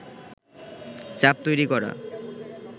চাপ তৈরী করা